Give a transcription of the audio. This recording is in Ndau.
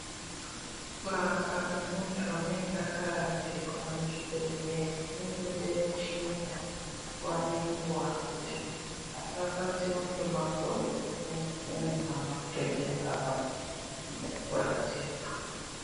Kurapwa kwemunthu unenge akaradzikwa kuchibehleya kunenge kweida kuchinjwa, kuva nenguwa kuti munhu asarwadziwa ngemakodo nedzimweni nyama kutoita maronda ngekuradzikwa.